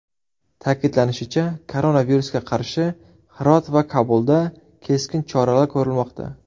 Ta’kidlanishicha, koronavirusga qarshi Hirot va Kobulda keskin choralar ko‘rilmoqda.